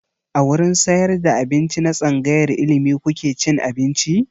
A wurin sayar da abinci na tsangayar ilimi kuke cin abinci?